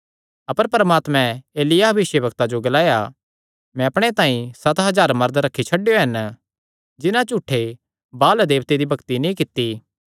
अपर परमात्मे एलिय्याह भविष्यवक्ता जो ग्लाया मैं अपणे तांई सत हज़ार मरद रखी छड्डेयो हन जिन्हां झूठे बाअल देवते दी भक्ति नीं कित्ती